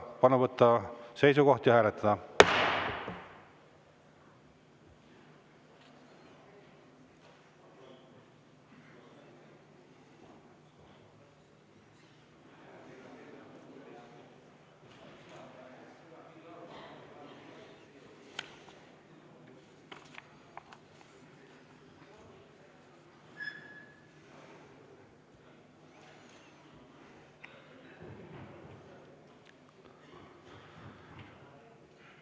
Palun võtta seisukoht ja hääletada!